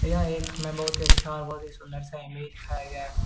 यह एक हमें बहुत ही अच्छा और बहुत ही सुंदर सा इमेज दिखाया गया है।